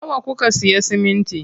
Nawa kuka siya siminti?